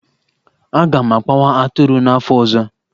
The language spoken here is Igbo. Aga m akpawa atụrụ n'afọ ọzọ.